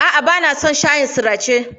A'a, bana son shayin sirace.